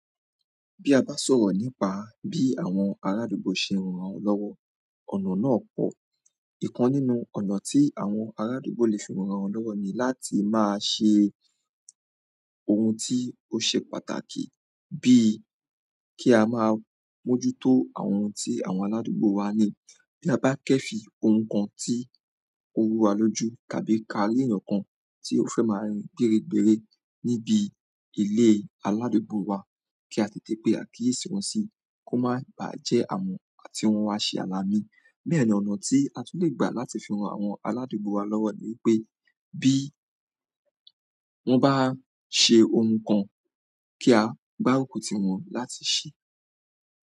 Bí a bá sọ̀rọ̀ nípa bí àwọn arádùúgbò ṣe ń ran ra wọn lọ́wọ́, ọ̀nà náà pọ̀. Ìkan nínú ọ̀nà tí àwọn aradùúgbò lè fi ń ran lọ́wọ́ ni láti máa ṣe ohun ti o ṣe pàtàkì bi ki a maa mojuto àwọn ti àwọn araduugbo ni bi a ba kẹ fí ohun kan tó rù wa lójú tàbí ka ri èyán kan to fe má rìn gbéré gbéré ni ìbí ile aladugbo wà ki a tètè pe àkíyèsí wọn si ko ma ba jẹ àwọn ti wọn wa se alaami. Bẹ́ẹ̀ ni ọ̀nà tí a tún lè gbà láti fi ran àwọn aládùúgbò wa lọ́wọ́ ni wípé bí wón bá ṣe ohun kan, kí a gbá ruku tiwọn láti ṣí.